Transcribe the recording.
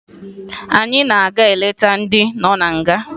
Anyị na-aga ileta ndị nọ na nga